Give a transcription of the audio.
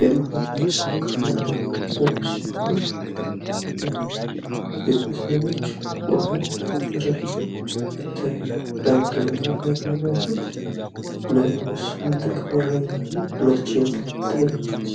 የማህበረሰብ ክፍል እና ቤተሰቦች ሲሆኑ እነኝህ ቤተሰቦች ውሃ እየተረጩ ይታያሉ። ለምንድን ነው ውሃ የሚረጩት? ለምንስ ምን ጥቅም ያገኛሉ? መቼ ነው የተረጩት?